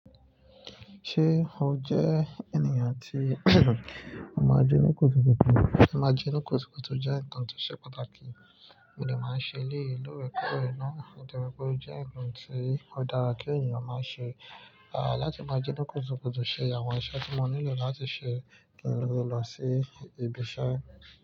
Ṣé o jẹ́ ènìyàn tí máa je oni rokuro? Ímá jóníkúsúkúsú jẹ́ nǹkan tó ṣe pàtàkì, mi ò máa ń ṣe léèlú rẹ̀ kúrò iná, diẹ́ gbó jẹ́ nǹkan tí ó dára kí ènìyàn máa ṣe. Láti máa jóníkúsúkúsú ṣe àwọn iṣẹ́ tí mo nílò láti ṣe, mo lè lọ sí ibi iṣẹ́.